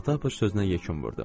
Patapıç sözünə yekun vurdu.